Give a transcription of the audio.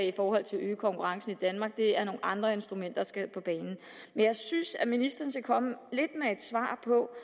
i forhold til at øge konkurrencen i danmark det er nogle andre instrumenter der skal på banen men jeg synes lidt at ministeren skal komme med et svar på